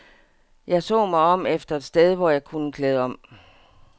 Jeg så mig om efter et sted, hvor jeg kunne klæde om.